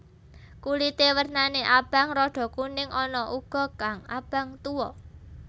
Kulité wernané abang rada kuning ana uga kang abang tuwa